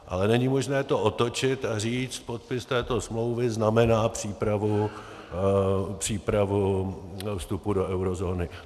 Ale není možné to otočit a říct: podpis této smlouvy znamená přípravu vstupu do eurozóny.